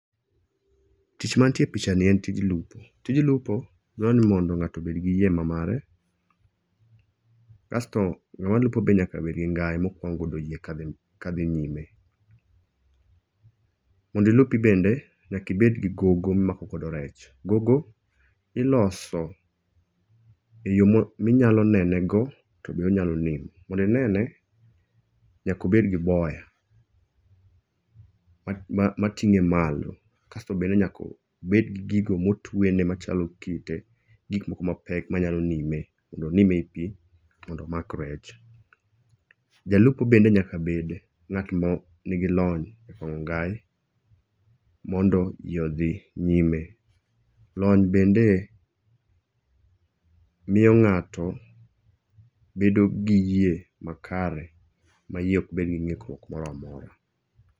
Tich manitie e picha ni en tij lupo. Tij lupo dwa ni mondo ng'ato obed gi yie ma mare. Kasto ng'ama lupo be nyaka bed gi ngai mokwang'o godo yie ka dhi nyime. Mondo ilupi bende nyaka ibed gi gogo mimako godo rech. Gogo iloso e yo minyalo nene go to bende onyalo nimo. Mondo inene nyaka obed gi boya mating'e malo. Kasto bende nyakobed gi gigo motwene machalo kite. Gik moko mapek manyalo nime mondo onim e pi mondo omak rech. Jalupo bende nyaka bend ng'at ma nigi lony e kwang'o ngai mondo ji odhi nyime. Lony bende miyo ng'ato bedo gi yie makare ma yie ok bed gi ng'ikruok moro amora.